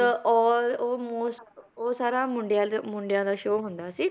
ਉਹ ਉਹ ਮੋਸ~ ਉਹ ਸਾਰਾ ਮੁੰਡਿਆਂ ਦਾ ਮੁੰਡਿਆਂ ਦਾ show ਹੁੰਦਾ ਸੀ